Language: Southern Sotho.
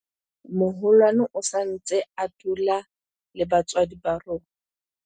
moholwane o sa ntse a dula le batswadi ba rona